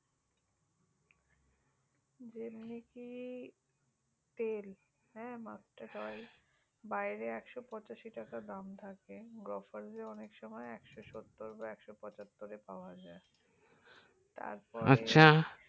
জেমনিকি তেল mustard oil বাইরে একশো পঁচাশি টাকা টাকা দাম থেকে গোফারসে অনেক সময় একশো সত্তর বা একশো পঁচাত্তর টাকায় পাওয়া যাই আচ্ছা